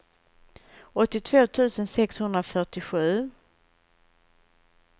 åttiotvå tusen sexhundrafyrtiosju